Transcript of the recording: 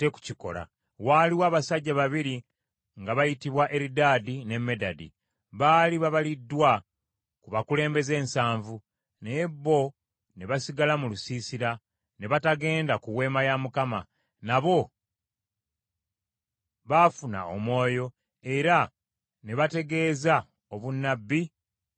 Waaliwo abasajja babiri nga bayitibwa Eridaadi ne Medadi, baali babaliddwa ku bakulembeze ensanvu, naye bo ne basigala mu lusiisira, ne batagenda ku Weema ya Mukama ; nabo baafuna omwoyo, era ne bategeeza obunnabbi mu lusiisira.